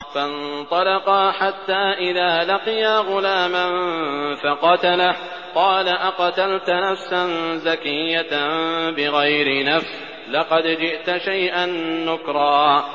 فَانطَلَقَا حَتَّىٰ إِذَا لَقِيَا غُلَامًا فَقَتَلَهُ قَالَ أَقَتَلْتَ نَفْسًا زَكِيَّةً بِغَيْرِ نَفْسٍ لَّقَدْ جِئْتَ شَيْئًا نُّكْرًا